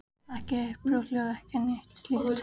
Ekki heyrt brothljóð eða neitt slíkt?